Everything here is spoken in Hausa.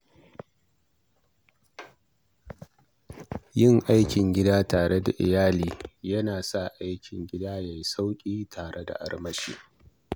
Yin aiki tare da iyali yana sa aikin gyara gida yayi sauƙi da armashi.